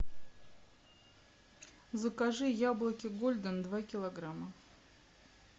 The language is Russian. закажи яблоки гольден два килограмма